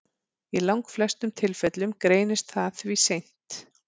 Í langflestum tilfellum greinist það því seint.